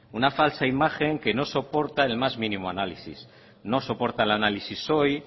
una falsa imagen que no soporta el más mínimo análisis no soporta el análisis hoy